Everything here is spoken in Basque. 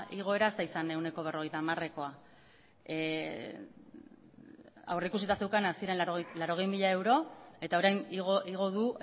igoera ez da ehuneko berrogeita hamarekoa aurrikusita zeukan hasieran laurogei mila euro eta orain igo du